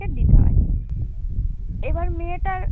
দিতে হয়। এবার মেয়েটার